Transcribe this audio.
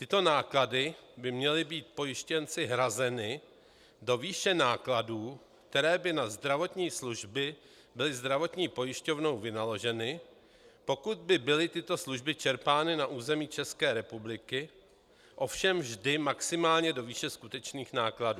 Tyto náklady by měly být pojištěnci hrazeny do výše nákladů, které by na zdravotní služby byly zdravotní pojišťovnou vynaloženy, pokud by byly tyto služby čerpány na území České republiky, ovšem vždy maximálně do výše skutečných nákladů.